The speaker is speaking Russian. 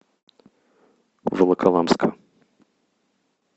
волоколамска